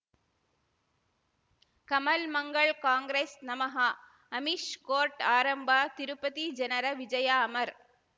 ಕಮಲ್ ಮಂಗಳ್ ಕಾಂಗ್ರೆಸ್ ನಮಃ ಅಮಿಷ್ ಕೋರ್ಟ್ ಆರಂಭ ತಿರುಪತಿ ಜನರ ವಿಜಯ ಅಮರ್